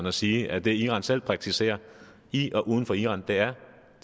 at sige at det iran selv praktiserer i og uden for iran er